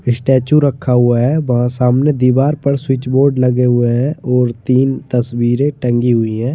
Statue रखा हुआ है वहां सामने दीवार पर स्विच बोर्ड लगे हुए हैं और तीन तस्वीरें टंगी हुई है।